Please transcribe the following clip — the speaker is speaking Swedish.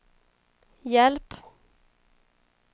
hjälp